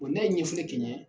n'a ye ɲɛfɔli kɛ n ɲɛ